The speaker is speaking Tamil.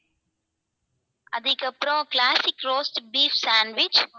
அதுக்கப்புறம் classic roast beef sandwich